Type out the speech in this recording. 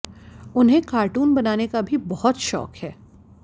उन्हें कार्टून बनाने का भी बहुत शौक है